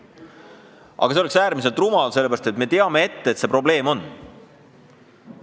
Aga see oleks äärmiselt rumal, sest me teame ette, et see probleem on.